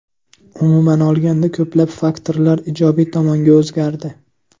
Umuman olganda ko‘plab faktorlar ijobiy tomonga o‘zgardi.